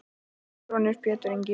Þinn sonur Pétur Ingi.